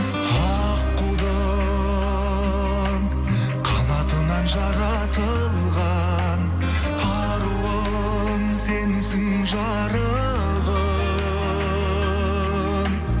аққудың қанатынан жаратылған аруым сенсің жарығым